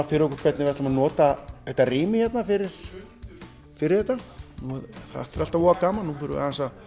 fyrir okkur hvernig við ætlum að nota þetta rými fyrir fyrir þetta þetta er alltaf voða gaman nú þurfum